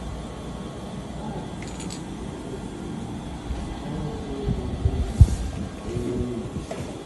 Kama, Ọ họpụtara nwa Nwaokolo nwa Nwaokolo bụ́ Solomọn ka o wuo ụlọ nsọ.